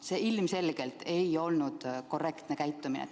See ilmselgelt ei olnud korrektne tõlgendamine.